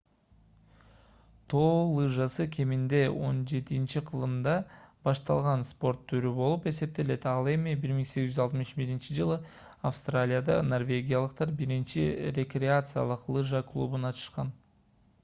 тоо лыжасы кеминде 17-кылымда башталган спорт түрү болуп эсептелет ал эми 1861-жылы австралияда норвегиялыктар биринчи рекреациялык лыжа клубун ачышкан